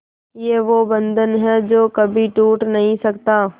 ये वो बंधन है जो कभी टूट नही सकता